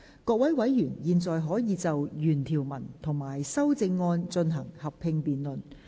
各位委員現在可以就原條文及修正案進行合併辯論。